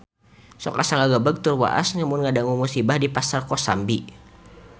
Sok asa ngagebeg tur waas lamun ngadangu musibah di Pasar Kosambi